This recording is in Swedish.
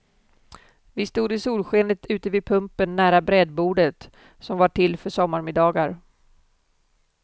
Vi stod i solskenet ute vid pumpen nära brädbordet, som var till för sommarmiddagar.